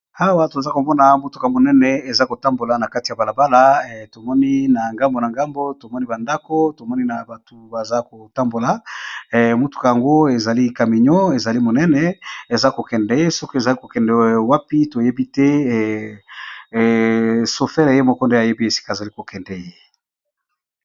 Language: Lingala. awa toza komona motuka monene eza kotambola na kati ya balabala tomoni na ngambo na ngambo tomoni bandako tomoni na bato baza kotambola motuka yango ezali caminion ezali monene eza kokende ye soki ezali kokende wapi toyebi te sofele ye moko nde ayebi esika ezali kokende ye